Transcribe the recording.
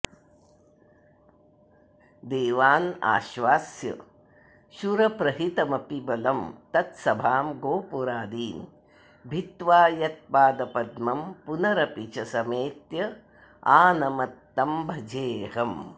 देवानाश्वास्य शूरप्रहितमपि बलं तत्सभां गोपुरादीन् भित्त्वा यत्पादपद्मं पुनरपि च समेत्यानमत्तं भजेहम्